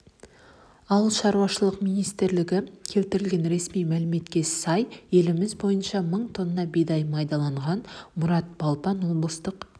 ауыл шаруашылығы министрлігі келтірген ресми мәліметке сай еліміз бойынша мың тонна бидай майдаланған мұрат балпан облыстық